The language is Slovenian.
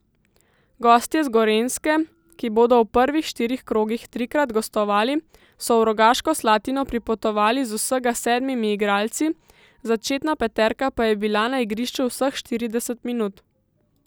Gostje z Gorenjske, ki bodo v prvih štirih krogih trikrat gostovali, so v Rogaško Slatino pripotovali z vsega sedmimi igralci, začetna peterka pa je bila na igrišču vseh štirideset minut.